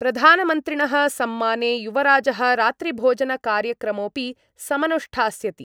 प्रधानमन्त्रिणः सम्माने युवराजः रात्रिभोजनकार्यक्रमोऽपि समनुष्ठास्यति।